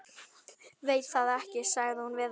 Veit það ekki sagði hún við þær.